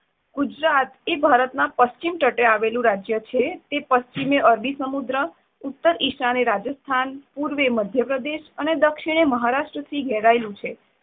ગુજરાત એ ભારતના પશ્ચિમ તટે આવેલું રાજ્ય છે. તે પશ્ચિમે અરબી સમુદ્ર, ઉત્તર ઈશાને રાજસ્થાન, પૂર્વે મધ્ય પ્રદેશ અને દક્ષિણે મહારાષ્ટ્ર થી ઘેરાયેલું છે.